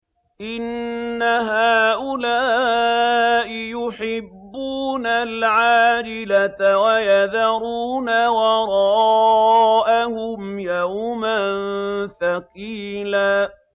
إِنَّ هَٰؤُلَاءِ يُحِبُّونَ الْعَاجِلَةَ وَيَذَرُونَ وَرَاءَهُمْ يَوْمًا ثَقِيلًا